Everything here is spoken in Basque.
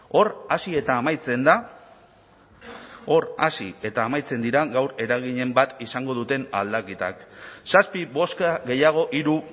hor hasi eta amaitzen da hor hasi eta amaitzen dira gaur eraginen bat izango duten aldaketak zazpi bozka gehiago hiru